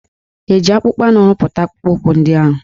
E ji akpụkpọ anụ rụpụta akpụkpọụkwụ ndị ahụ?